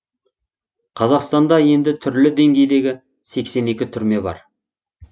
қазақстанда енді түрлі деңгейдегі сексен екі түрме бар